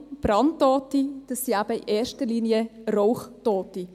Brandtote sind in erster Linie Rauchtote.